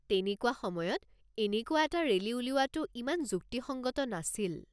তেনেকুৱা সময়ত এনেকুৱা এটা ৰেলী উলিওৱাটো ইমান যুক্তিসংগত নাছিল।